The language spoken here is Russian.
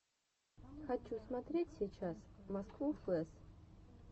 хочу смотреть сейчас москву флэс